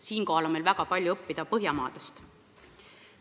Selles osas on meil väga palju õppida Põhjamaadest.